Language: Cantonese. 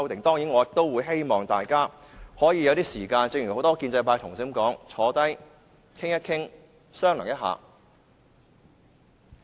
當然，我也希望大家可以有時間討論，正如很多建制派同事所說，大家坐下來，討論商量一下。